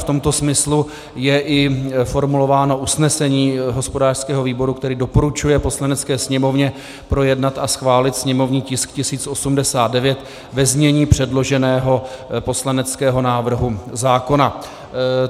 V tomto smyslu je i formulováno usnesení hospodářského výboru, který doporučuje Poslanecké sněmovně projednat a schválit sněmovní tisk 1089 ve znění předloženého poslaneckého návrhu zákona.